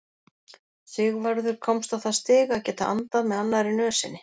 Sigvarður komst á það stig að geta andað með annarri nösinni.